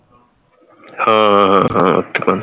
ਹਾਂ ਹਾਂ ਹਾਂ ਹਾਂ